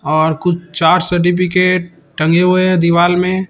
और कुछ चार सर्टिफिकेट टंगे हुए दीवाल में।